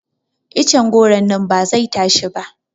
Iccen goro nan ba zai tashi ba